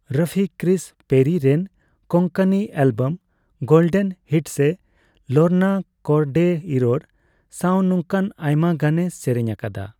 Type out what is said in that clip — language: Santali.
ᱨᱟᱯᱷᱤ ᱠᱨᱤᱥ ᱯᱮᱨᱤ ᱨᱮᱱ Konkani album golden hits Lorna Cordeiro ᱥᱟᱣ ᱱᱚᱝᱠᱟᱱ ᱟᱭᱢᱟ ᱜᱟᱱᱮ ᱥᱮᱨᱮᱧ ᱟᱠᱟᱫᱟ ᱾